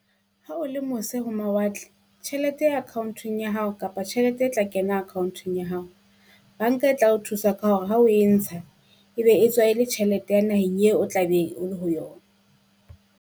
Ha o le mose ho mawatle, tjhelete account-ong ya hao kapa tjhelete e tla kena account-ong ya hao. Banka e tla o thusa ka hore ha o e ntsha ebe e tjhelete ya naheng eo o tla be o le ho yona.